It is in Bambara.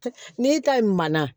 N'i ka manana